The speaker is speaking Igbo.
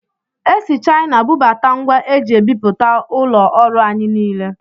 Esi Chaịna bubata ngwa eji ebipụta ụlọ ọrụ anyị niile.